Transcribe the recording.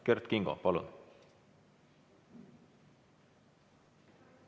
Kert Kingo, palun!